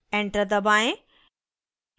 enter दबाएं